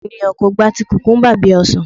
Ọ̀pọ̀ ènìyàn kò gba ti kùkùńbà bí i ọsàn.